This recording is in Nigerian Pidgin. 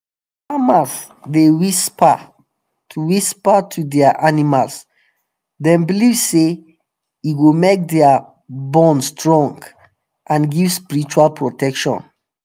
farmers dey whisper to whisper to their animals them believe say e go make their bond strong and give spiritual protection.